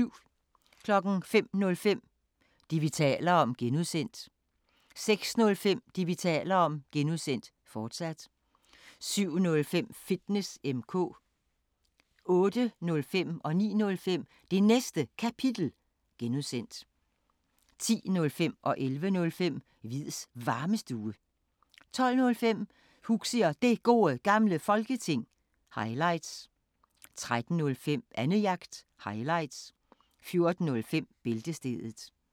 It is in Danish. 05:05: Det, vi taler om (G) 06:05: Det, vi taler om (G), fortsat 07:05: Fitness M/K 08:05: Det Næste Kapitel (G) 09:05: Det Næste Kapitel (G) 10:05: Hviids Varmestue 11:05: Hviids Varmestue 12:05: Huxi og Det Gode Gamle Folketing – highlights 13:05: Annejagt – highlights 14:05: Bæltestedet